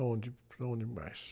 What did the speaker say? Aonde, aonde mais?